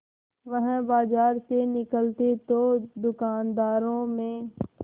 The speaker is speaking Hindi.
वह बाजार में निकलते तो दूकानदारों में